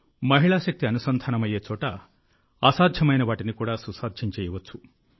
మహిళా శక్తి అనుసంధానమయ్యే చోట అసాధ్యమైన వాటిని కూడా సుసాధ్యం చేయవచ్చు